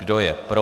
Kdo je pro?